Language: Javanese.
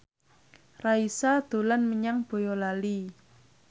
Raisa dolan menyang Boyolali